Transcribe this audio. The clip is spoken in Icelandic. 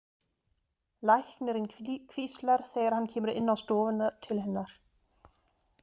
Læknirinn hvíslar þegar hann kemur inn á stofuna til hennar.